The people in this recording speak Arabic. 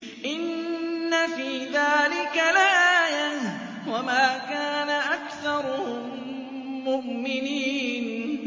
إِنَّ فِي ذَٰلِكَ لَآيَةً ۖ وَمَا كَانَ أَكْثَرُهُم مُّؤْمِنِينَ